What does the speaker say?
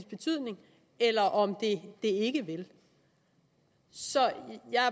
betydning eller om det ikke vil så jeg